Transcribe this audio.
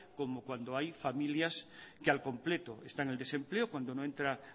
como cuando hay familias que al completo están en el desempleo cuando no entra